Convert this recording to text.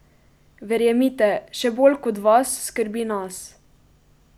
Verjemite, še bolj kot vas skrbi nas!